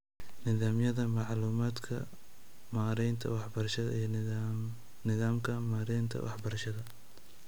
Nidaamyada macluumaadka maareynta waxbarashada iyo nidaamka maareynta waxbarashada